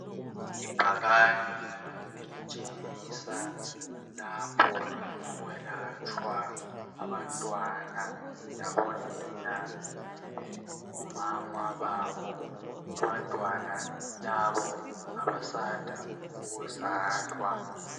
Libhakane elitshengisa lapho okwelatshwa abantwana labo nina kumbe omama babo. Abantwana labo ngabasanda ukuzalwa